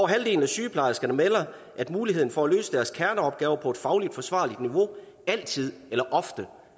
halvdelen af sygeplejerskerne melder at muligheden for at løse deres kerneopgaver på et fagligt forsvarligt niveau altid eller ofte